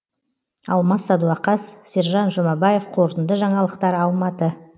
алмас садуақас сержан жұмабаев қорытынды жаңалықтар алматы